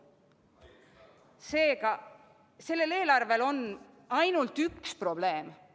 Seega, sellel eelarvel on ainult üks probleem.